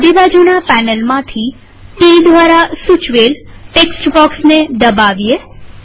ડાબીબાજુના પેનલમાંથી ટી દ્વારા સૂચવેલ ટેક્સ્ટ બોક્સ ને દબાવીએ